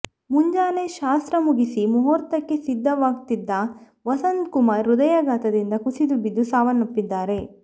ಮುಂಜಾನೆ ಶಾಸ್ತ್ರ ಮುಗಿಸಿ ಮುಹೂರ್ತಕ್ಕೆ ಸಿದ್ಧವಾಗ್ತಿದ್ದ ವಸಂತ್ ಕುಮಾರ್ ಹೃದಯಾಘಾತದಿಂದ ಕುಸಿದುಬಿದ್ದು ಸಾವನ್ನಪಿದ್ದಾರೆ